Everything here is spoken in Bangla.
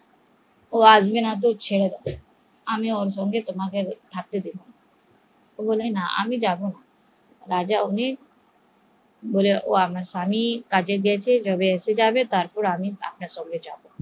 ও আসবেনা তো ওকে ছেড়ে দাও, আমি ওর সঙ্গে তোমাকে থাকতে দেব না, ও বলে আমি যাবো না, আমার স্বামী কাজে গেছে ও আসলে আমি তার পর আপনার সঙ্গে যাবো